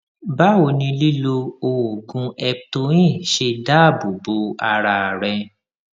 báwo ni lílo oògùn eptoin ṣe dáàbò bo ara rẹ